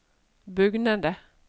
bugnende